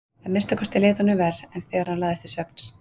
Að minnsta kosti leið honum verr en þegar hann lagðist til svefns.